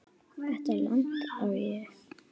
Þetta land á ég.